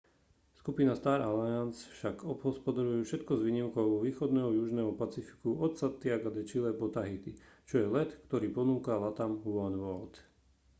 skupina star alliance však obhospodaruje všetko s výnimkou východného južného pacifiku od santiaga de chile po tahiti čo je let ktorý ponúka latam oneworld